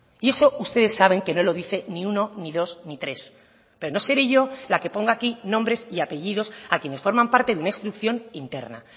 y eso ustedes saben que no lo dice ni uno ni dos ni tres pero no seré yo la que ponga aquí nombres y apellidos a quienes forman parte de una instrucción interna